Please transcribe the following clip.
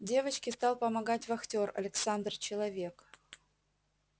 девочке стал помогать вахтёр александр человек